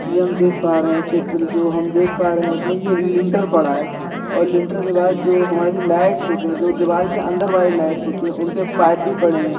ये हम देख पा रहे है चित्र जो हम देख पा रहे इसमें ये लिंटर पड़ा है और लिंटर के बाद जो हमारी लाइट्स होते है जो दीवाल के अंदर वाली लाइट्स होती है उनकी पाइप भी पड़े है।